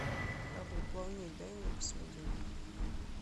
храбрый плавник дай мне посмотреть